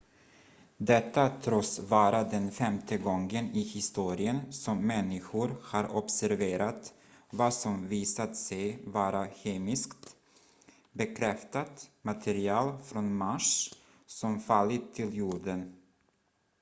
detta tros vara den femte gången i historien som människor har observerat vad som visat sig vara kemiskt bekräftat material från mars som fallit till jorden